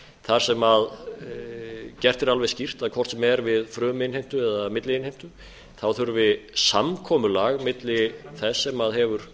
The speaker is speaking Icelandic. þar sem gert er alveg skýrt að hvort sem er við fruminnheimtu eða milliinnheimtu hefur samkomulag milli þess sem hefur